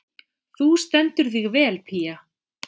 Þú stendur þig vel, Pía!